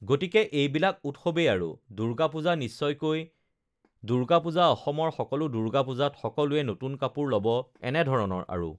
গতিকে এইবিলাক উৎসৱেই আৰু দুৰ্গা পূজা নিশ্চয়কৈ দুৰ্গা পূজা অসমৰ দুৰ্গা পূজাত সকলোৱে নতুন কাপোৰ ল'ব এনেধৰণৰ আৰু